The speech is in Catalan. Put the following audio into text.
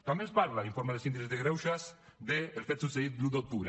també ens parla l’informe del síndic de greuges dels fets succeïts l’un d’octubre